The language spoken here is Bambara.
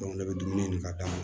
ne bɛ dumuni ɲini ka d'a ma